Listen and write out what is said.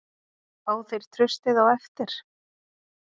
Fá þeir traustið á eftir?